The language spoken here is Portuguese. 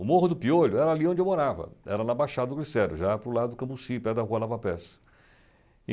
O Morro do Piolho era ali onde eu morava, era na Baixada do Glicério, já para o lado do Camucí, perto da Rua Lava Peça.